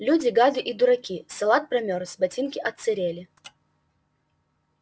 люди гады и дураки салат промёрз ботинки отсырели